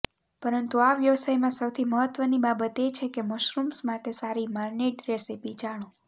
પરંતુ આ વ્યવસાયમાં સૌથી મહત્ત્વની બાબત એ છે કે મશરૂમ્સ માટે સારી માર્નીડ રેસીપી જાણો